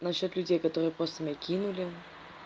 насчёт людей которые просто меня кинули